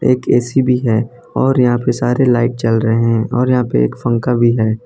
एक ऐ_सी भी है और यहां पर सारे लाइट जल रहे हैं और यहां पे एक पंखा भी है।